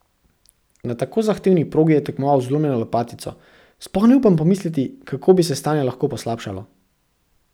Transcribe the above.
Na tako zahtevni progi je tekmoval z zlomljeno lopatico, sploh ne upam pomisliti, kako bi se stanje lahko poslabšalo.